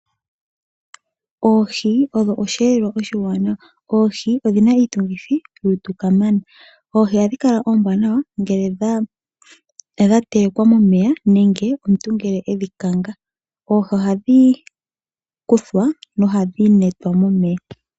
Oohi odho osheelelwa oshiwanawa. Oohi odhi na iitungithi yolutu kamana. Oohi ohadhi kala oombwanawa ngele dha telekwa momeya nenge omuntu ngele e dhi kanga. Oohi ohadhi kuthwa nohadhi netwa momeya.